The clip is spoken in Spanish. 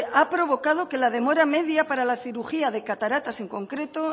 ha provocado que la demora media para la cirugía de cataratas en concreto